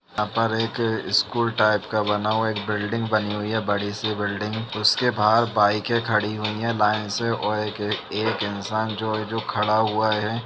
यहाँ पर एक स्कूल टाइप का बना हुआ है एक बिल्डिंग बनी हुई है बड़ी सी बिल्डिंग । उसके बाहर बाइकें खड़ी हुई हैं लाइन से और एक एक इंसान जो जो खड़ा हुआ है।